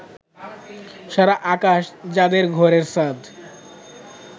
সারা আকাশ যাদের ঘরের ছাদ